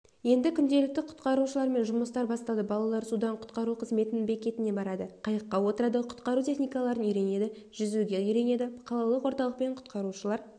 енді күнделікті құтқарушылармен жұмыстар басталды балалар судан құтқару қызметінің бекетіне барады қайыққа отырады құтқару техникаларын үйренеді жүзуге үйренеді қалалық орталықпен құтқарушылар